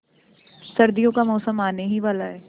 सर्दियों का मौसम आने ही वाला है